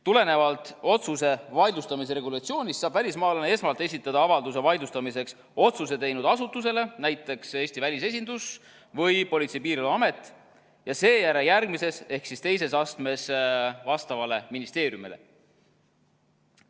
Tulenevalt otsuse vaidlustamise regulatsioonist saab välismaalane esmalt esitada avalduse vaidlustamiseks otsuse teinud asutusele, näiteks Eesti välisesindus või Politsei- ja Piirivalveamet, ja seejärel järgmises ehk teises astmes vastavale ministeeriumile.